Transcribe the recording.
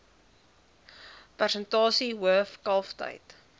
persentasie hoof kalftyd